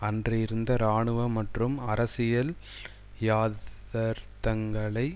அன்று இருந்த இராணுவ மற்றும் அரசியல் யதார்த்தங்களை